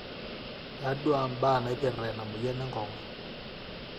taadua imbaa naaipirta ina mweyian enkong'u